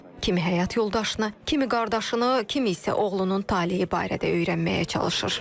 Kimi həyat yoldaşını, kimi qardaşını, kimi isə oğlunun taleyi barədə öyrənməyə çalışır.